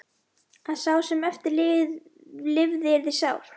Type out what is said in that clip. Að sá sem eftir lifði yrði sár.